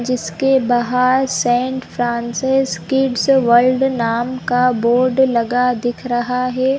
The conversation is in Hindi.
जिसके बाहर सेण्ट_फ्रांसेस_किड्स_वर्ल्ड नाम का बोर्ड लगा दिख रहा है।